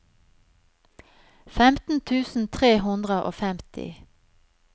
femten tusen tre hundre og femti